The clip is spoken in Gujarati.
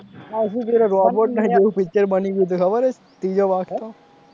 આ શું કરે robot ના જેવું picture બની ગયું છે ખબર છે ત્રીજો ભાગ તો,